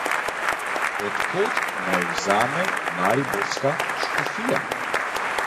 Od kod naj vzame mariborska škofija?